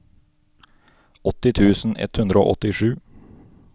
åtti tusen ett hundre og åttisju